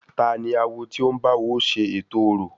Tani awo ti o ń báwo ṣe ètò orò?